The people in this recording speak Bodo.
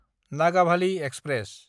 नागाभालि एक्सप्रेस